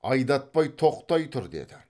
айдатпай тоқтай тұр деді